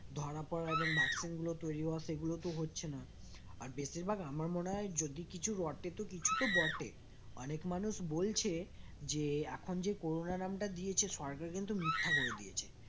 ধরা পড়া এবং vaccine গুলো তৈরি হওয়া সেগুলো তো হচ্ছে না আর বেশিরভাগ আমার মনে হয় যদি কিছু রটে কিছু তো বটে অনেক মানুষ বলছে যে এখন যে করোনা নামটা দিয়েছে সরকার কিন্তু মিথ্যা করে দিয়েছে